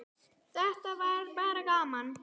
Þetta var bara gaman.